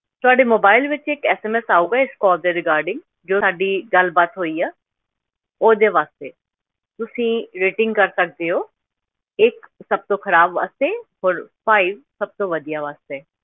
ਤੁਹਾਡੇ mobile ਵਿੱਚ ਇੱਕ SMS ਆਊਗਾ ਇਸ call ਦੇ regarding ਜੋ ਸਾਡੀ ਗੱਲ ਬਾਤ ਹੋਈ ਆ ਉਹਦੇ ਵਾਸਤੇ, ਤੁਸੀਂ rating ਕਰ ਸਕਦੇ ਹੋ, ਇੱਕ ਸਭ ਤੋਂ ਖ਼ਰਾਬ ਵਾਸਤੇ ਹੋਰ five ਸਭ ਤੋਂ ਵਧੀਆ ਵਾਸਤੇ।